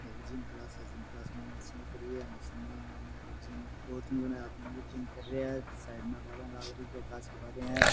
ये gym class है gym class में मशीना पड़ी है मशीन में दो तीन जने आदमी जिम कर रिया है साइड में बारिया लाग राखी है कांच की बारिया है।